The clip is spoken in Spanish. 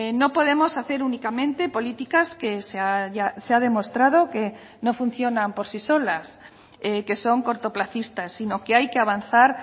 no podemos hacer únicamente políticas que se ha demostrado que no funcionan por sí solas que son cortoplacistas sino que hay que avanzar